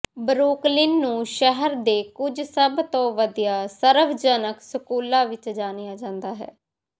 Brooklyn ਨੂੰ ਸ਼ਹਿਰ ਦੇ ਕੁਝ ਸਭ ਤੋਂ ਵਧੀਆ ਸਰਵਜਨਕ ਸਕੂਲਾਂ ਵਿੱਚ ਜਾਣਿਆ ਜਾਂਦਾ ਹੈ